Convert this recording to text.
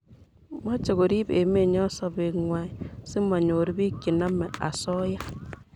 Mache korib emennyo sobet ngwai si manyor piik che namei asoya